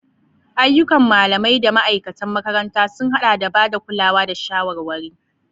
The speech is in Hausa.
Ayyukan malamai da ma'aikatan makaranta sun haɗa da ba da kulawa da shawarwari.